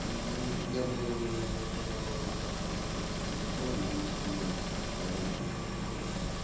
ну я бы сказал так-то что это стилизовано но всё равно он какой-то квадратный слишком получается